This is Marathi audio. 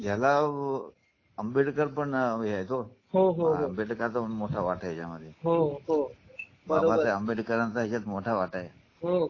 आंबेडकर पण आहेत हो हो हो भेटेल का पण मोठय़ा वाट मध्ये हो बाबा साहेब आंबेडकरांचा यात मोठा वाटा आहे